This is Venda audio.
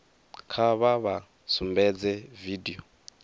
kha vha vha sumbedze vidio